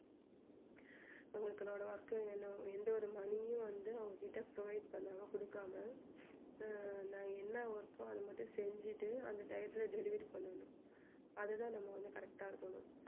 work வேணும் எந்த ஒரு money உம் வந்து அவங்ககிட்ட provide பண்ணாம கொடுக்காம அஹ் நான் என்ன work ஓ அது மட்டும் செஞ்சிட்டு அந்த டயத்துல delivery பண்ணணும் அதுதான் நம்ம வந்து correct இருக்கணும்